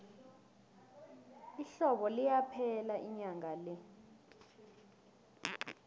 ihlobo liyaphela inyanga le